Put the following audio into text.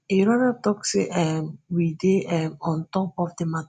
e rather tok say um we dey um on top of di matter